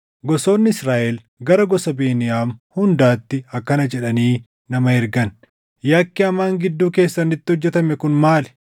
Gosoonni Israaʼel gara gosa Beniyaam hundaatti akkana jedhanii nama ergan; “Yakki hamaan gidduu keessanitti hojjetame kun maali?